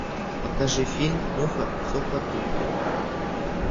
покажи фильм муха цокотуха